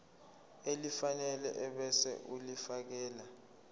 elifanele ebese ulifiakela